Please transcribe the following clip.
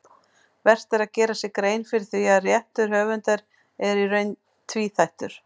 Vert er að gera sér grein fyrir því að réttur höfundar er í reynd tvíþættur.